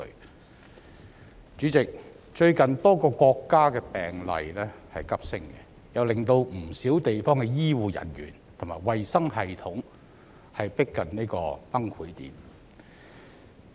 代理主席，最近多個國家的新冠肺炎病例急升，令不少地方的醫護人員和衞生系統逼近崩潰點。